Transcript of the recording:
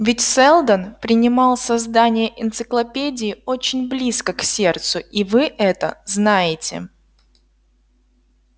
ведь сэлдон принимал создание энциклопедии очень близко к сердцу и вы это знаете